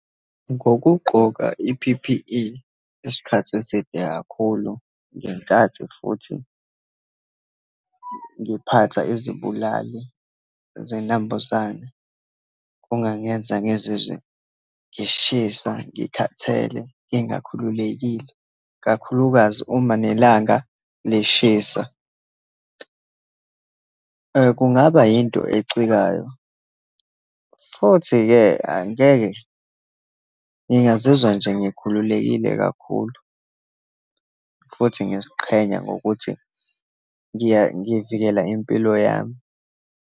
Ngokugqoka i-P_P_E isikhathi eside kakhulu, ngenkathi futhi ngiphatha izibulali zinambuzane, kungangenza ngizizwe ngishisa, ngikhathele, ngingakhululekile, kakhulukazi uma nelanga lishisa. Kungaba yinto ecikayo, futhi-ke angeke ngingazizwa nje ngikhululekile kakhulu, futhi ngiyaziqhenya ngokuthi ngiya, ngivikela impilo yami.